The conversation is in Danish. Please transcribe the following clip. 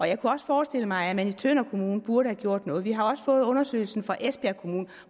jeg kunne også forestille mig at man i tønder kommune burde have gjort noget vi har også fået undersøgelsen fra esbjerg kommune